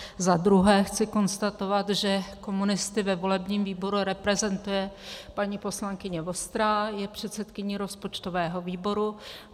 Za druhé chci konstatovat, že komunisty ve volebním výboru reprezentuje paní poslankyně Vostrá, je předsedkyní rozpočtového výboru.